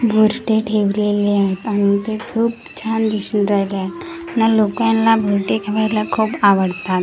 मूर्ते ठेवलेले आहे आणि ते खूप छान दिसून राहिले आहेत न लोकाना मूर्ते ठेवायला खूप आवडतात आन .